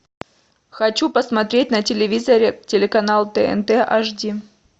хочу посмотреть на телевизоре телеканал тнт аш ди